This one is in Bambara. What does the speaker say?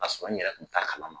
K'a sɔrɔ n yɛrɛ tun t'a kalama.